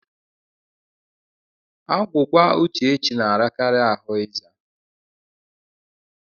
Agwụgwa Uchechi na-arakari ahụ ịza.